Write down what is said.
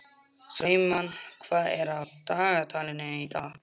Trúmann, hvað er á dagatalinu í dag?